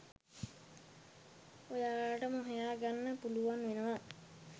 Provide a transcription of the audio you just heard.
ඔයාලටම හොයා ගන්න පුලුවන් වෙනව.